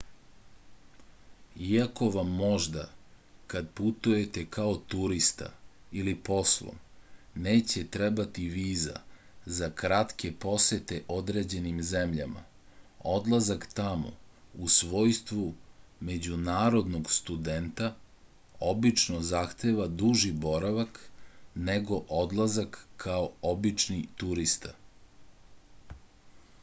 iako vam možda kad putujete kao turista ili poslom neće trebati viza za kratke posete određenim zemljama odlazak tamo u svojstvu međunarodnog studenta obično zahteva duži boravak nego odlazak kao obični turista